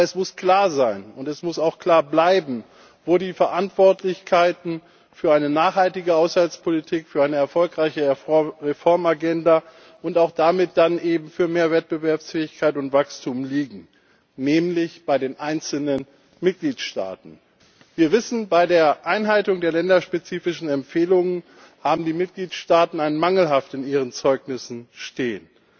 Aber es muss klar sein und es muss auch klar bleiben, wo die Verantwortlichkeiten für eine nachhaltige Haushaltspolitik, für eine erfolgreiche Reformagenda und damit dann eben auch für mehr Wettbewerbsfähigkeit und Wachstum liegen, nämlich bei den einzelnen Mitgliedstaaten. Wir wissen, bei der Einhaltung der länderspezifischen Empfehlungen haben die Mitgliedstaaten ein Mangelhaft in ihren Zeugnissen stehen.